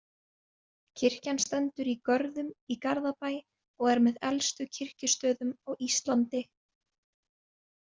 Kirkjan stendur í Görðum í Garðabæ og er með elstu kirkjustöðum á Íslandi.